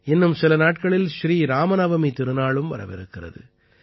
இன்னும் சில நாட்களில் ஸ்ரீ இராம நவமி திருநாளும் வரவிருக்கிறது